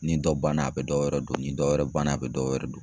Ni dɔ banna ,a bɛ dɔwɛrɛ don, ni dɔ wɛrɛ banna a bɛ dɔwɛrɛ don.